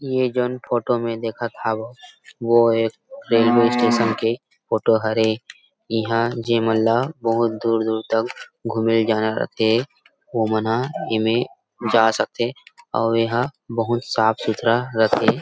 ये झन फोटो में देखत हव वोह एक रेलवे स्टेशन के फोटो हरे इहां जे मन ला बहुत दूर-दूर घूमे जाना रह थे वो मना इसमे जा सक थे अऊ एहा बहुत साफ सुथरा रथे।